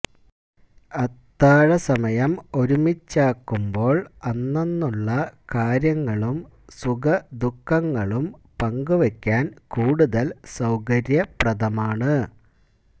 അത്താഴസമയം ഒരുമിച്ചാക്കുമ്പോള് അന്നന്നുള്ള കാര്യങ്ങളും സുഖദുഃഖങ്ങളും പങ്കുവെക്കാന് കൂടുതല് സൌകര്യപ്രദമാണ്